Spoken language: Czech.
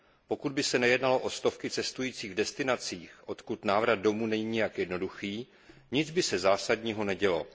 Pokud by se nejednalo o stovky cestujících v destinacích, odkud návrat domů není nijak jednoduchý, nic zásadního by se nedělo.